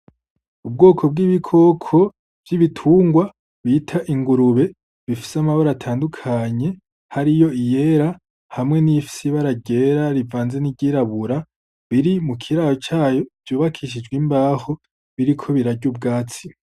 Ubwoko bw'ibikoko vy'ibitungwa bita ingurube bifise amabara atandukanye, hariyo iyera hamwe n'iyifise ibara ryera rivanze n'iry'irabura biri mu kiraro cayo vyubakishijwe imbaho, biriko birarya ubwatsi.